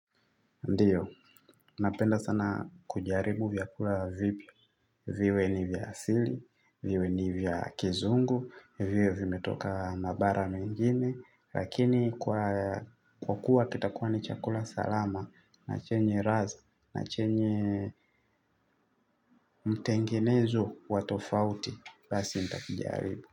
Ndiyo, napenda sana kujaribu vyakula vipya, viwe ni vya asili, viwe ni vya kizungu, viwe vimetoka mabara mengine, lakini kwa kuwa kitakuwa ni chakula salama, na chenye ladha, na chenye mtengenezo wa tofauti, basi nitakijaribu.